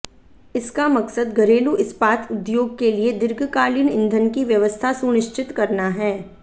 इसका मकसद घरेलू इस्पात उद्योग के लिए दीर्घकालीन ईंधन की व्यवस्था सुनिश्चित करना है